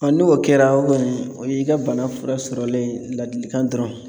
n'o kɛra o kɔni o y'i ka bana fura sɔrɔlen ye ladilikan dɔrɔn.